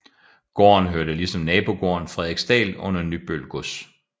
Gården hørte ligesom nabogården Frederiksdal under Nybøl gods